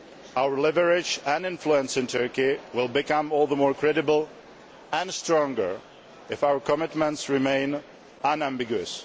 Our leverage and influence in Turkey will become all the more credible and stronger if our commitments remain unambiguous.